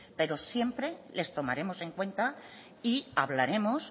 pero siempre les tomaremos en cuenta y hablaremos